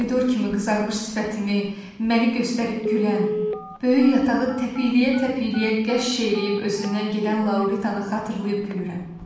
Pomidor kimi qızarmış sifətimi, məni göstərib gülən, böyük yatağı təpikliyə-təpikliyə qəş eləyib özündən gedən Lauritanı xatırlayıb gülürəm.